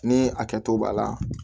Ni a kɛto b'a la